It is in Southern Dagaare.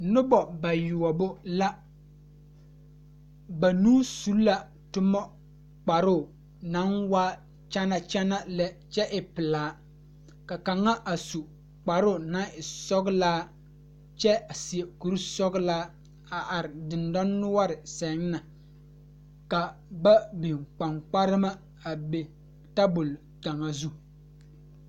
Pɔgeba ane bibiiri la ka bondire a kabɔɔti poɔ ka talaare be a be poɔ kaa kodo vaare meŋ be a be kaa bie kaŋa a be table ka zu.